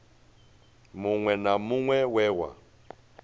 muṅwe na muṅwe we wa